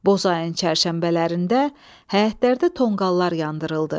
Boz ayın çərşənbələrində həyətlərdə tonqallar yandırıldı.